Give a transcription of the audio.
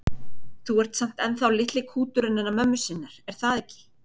Þú ert samt ennþá litli kúturinn hennar mömmu sinnar, er það ekki?